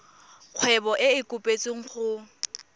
kgwebo e e kopetswengcc go